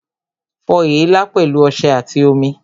Fọ èélá pẹ̀lú ọṣẹ àti omi